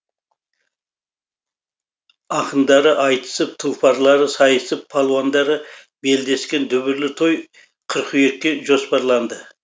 ақындары айтысып тұлпарлары сайысып палуандары белдескен дүбірлі той қыркүйекке жоспарланды